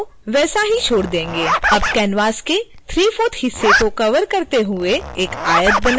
अब canvas के 3/4 हिस्से को कवर करते हुए एक आयत बनाएं जैसा दिखाया गया है